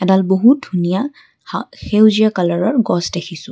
এডাল বহুত ধুনীয়া হা সেউজীয়া কলাৰৰ গছ দেখিছোঁ।